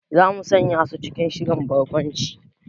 Za mu sanya su cikin shirin barkwancin